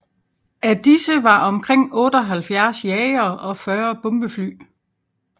Af disse var omkring 78 jagere og 40 bombefly